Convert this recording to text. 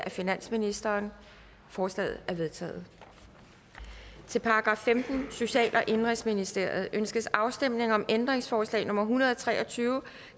af finansministeren forslagene er vedtaget til § femtende social og indenrigsministeriet ønskes afstemning om ændringsforslag nummer en hundrede og tre og tyve